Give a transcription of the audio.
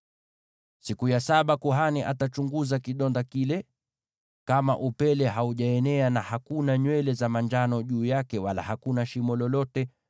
Siku ya saba kuhani atachunguza kidonda kile, na kama upele haujaenea, na hakuna nywele za manjano juu yake, wala hakuna shimo lolote,